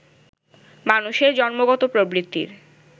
মানুষের জন্মগত প্রবৃত্তির